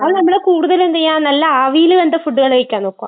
അത്, നമ്മൾ കൂടുതൽ എന്ത് ചെയ്യാ? നല്ല ആവിയിൽ വെന്ത ഫുഡ് കഴിക്കാൻ നോക്കുക.